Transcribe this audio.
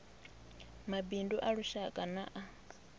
mabindu a lushaka na a